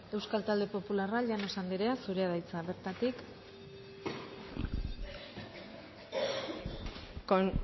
euskal talde popularra llanos andrea zurea da hitza bertatik con